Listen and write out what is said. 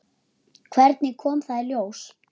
Hvernig kom það í ljós?